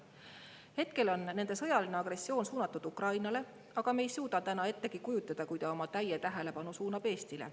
Hetkel on nende sõjaline agressioon suunatud Ukrainale, aga me ei suuda ettegi kujutada, kui ta oma täie tähelepanu suunab Eestile.